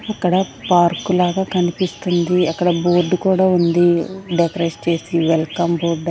అక్కడ పార్క్ లాగా కనిపిస్తుంది అక్కడ బోర్డు కూడా ఉంది డెకరేట్ చేసి వెల్కమ్ బోర్డు .